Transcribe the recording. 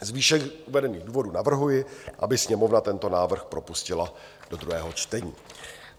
Z výše uvedených důvodů navrhuji, aby Sněmovna tento návrh propustila do druhého čtení.